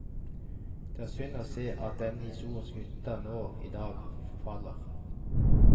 Det er synd å se at denne historiske hytta nå i dag forfaller.